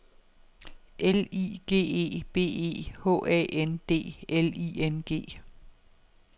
L I G E B E H A N D L I N G